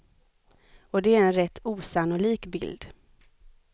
Och det är en rätt osannolik bild.